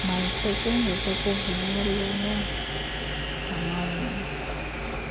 mayisetyenziswe kuvunyelwene namalungu